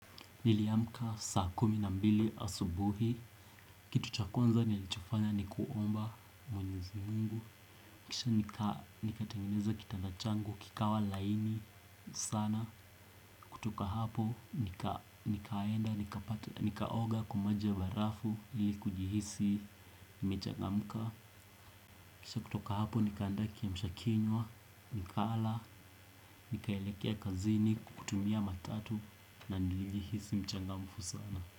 Niliamka saa kumi na mbili asubuhi. Kitu cha kwanza nilichofanya ni kuomba mwenyezi mungu. Kisha nikatengeneza kitanda changu, kikawa laini sana. Kutoka hapo nikaenda, nikaoga kwa maji ya barafu ili kujihisi nimechangamka. Kisha kutoka hapo nikaandaa kiamshakinywa, nikala, nikaelekea kazini, kutumia matatu na nilijihisi mchangamfu sana.